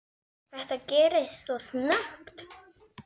Þetta gerðist svo snöggt.